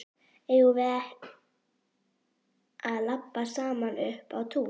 Eigum við að labba saman upp á tún?